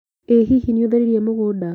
ĩ hihi nĩũtheririe mũgunda?